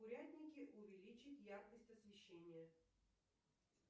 в курятнике увеличить яркость освещения